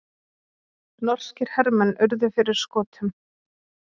Norskir hermenn urðu fyrir skotum